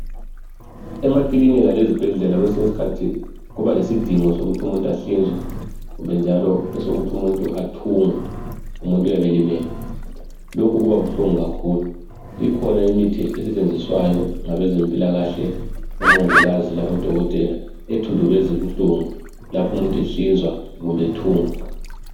Emakilinika lezibhedlela kwesiny'iskhathi kuba lesidingo sokuthi umuntu anhlinzwe, kumbe njalo esokuthi umuntu athungwe, umuntu uyabe elimele. Lokhu kuba buhlungu kakhulu. Ikhona imithi esetshenziswayo ngabezempilakahle, omongikazi labodokotela ethundubez'ubuhlungu laph'umuntu ehlinzwa kumb'ethungwa.